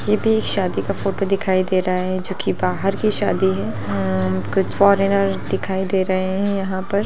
ये भी एक शादी का फोटो दिखाई दे रहा है जो की बाहर की शादी है उम्म कुछ फॉरेनर दिखाई दे रहे है यहां पर।